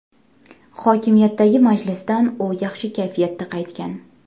Hokimiyatdagi majlisdan u yaxshi kayfiyatda qaytgan.